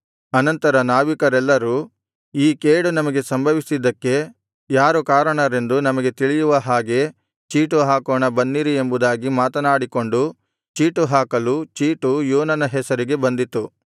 ಅನಂತರ ನಾವಿಕರೆಲ್ಲರು ಈ ಕೇಡು ನಮಗೆ ಸಂಭವಿಸಿದ್ದಕ್ಕೆ ಯಾರು ಕಾರಣರೆಂದು ನಮಗೆ ತಿಳಿಯುವ ಹಾಗೆ ಚೀಟು ಹಾಕೋಣ ಬನ್ನಿರಿ ಎಂಬುದಾಗಿ ಮಾತನಾಡಿಕೊಂಡು ಚೀಟುಹಾಕಲು ಚೀಟು ಯೋನನ ಹೆಸರಿಗೆ ಬಂದಿತು